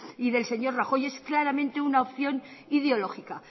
y del señor rajoy es claramente una opción ideológica